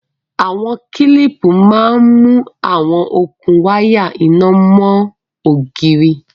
Awọn kílípú mà n mú awọn okun wàya iná mọn ogírí.